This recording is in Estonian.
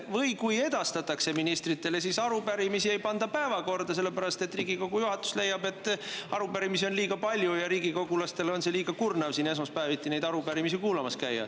Või kui edastatakse, siis ei panda arupärimistele päevakorda, sest Riigikogu juhatus leiab, et arupärimisi on liiga palju ja riigikogulastele on liiga kurnav esmaspäeviti neid arupärimisi siin kuulamas käia.